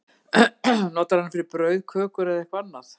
Notarðu hana fyrir brauð, kökur, eitthvað annað?